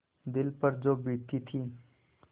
दिल पर जो बीतती थी